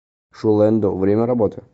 шулэндо время работы